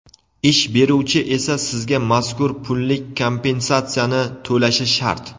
Ish beruvchi esa sizga mazkur pullik kompensatsiyani to‘lashi shart.